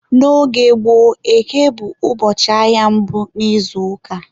N'oge gboo, Eke bụ ụbọchị ahịa mbụ n'izuụka.